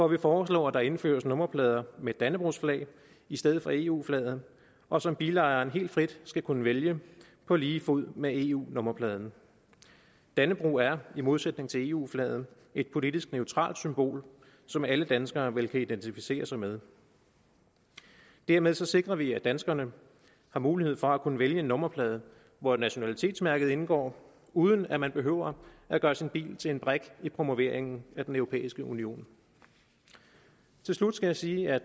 vi foreslår at der indføres nummerplader med et dannebrogsflag i stedet for eu flaget og som bilejeren helt frit skal kunne vælge på lige fod med eu nummerpladen dannebrog er i modsætning til eu flaget et politisk neutralt symbol som alle danskere vel kan identificere sig med dermed sikrer vi at danskerne får mulighed for at kunne vælge en nummerplade hvor nationalitetsmærket indgår uden at man behøver at gøre sin bil til en brik i promoveringen af den europæiske union til slut skal jeg sige at